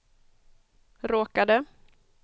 råkade